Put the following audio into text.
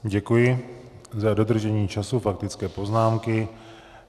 Děkuji za dodržení času faktické poznámky.